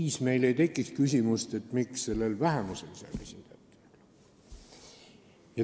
Kas meil siis ei tekiks küsimust, miks vähemusel seal esindajat ei ole?